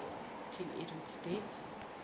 king edward's death